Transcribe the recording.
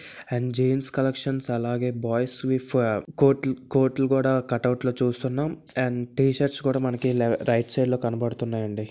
And jeans collection అలాగే boys కోట్లు కోట్లు కూడా కట్ అవుట్లు చూస్తున్నాం అండ్ టి షర్ట్స్ కూడా లె రైట్ సైడ్ లో కనబడుతున్నాయి అండి.